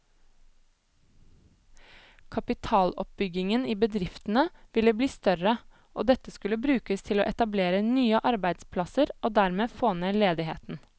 Kapitaloppbyggingen i bedriftene ville bli større, og dette skulle brukes til å etablere nye arbeidsplasser og dermed få ned ledigheten.